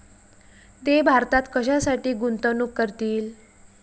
ते भारतात कशासाठी गुंतवणूक करतील?